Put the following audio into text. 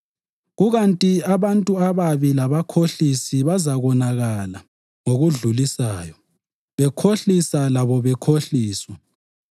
kukanti abantu ababi labakhohlisi bazakonakala ngokudlulisayo, bekhohlisa labo bekhohliswa.